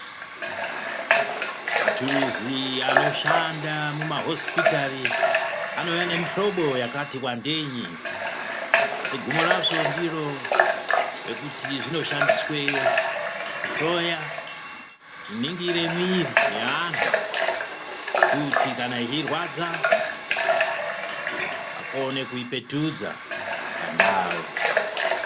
Maturuzi anoshanda mumahosipitari anouya nemihlobo yakati wandei asi gumo razvo ndiro rekuti zvinoshandiswe kuhloya kuningire mwiri yeanhu kuti kana ichirwadza akone kuipetudza pandau.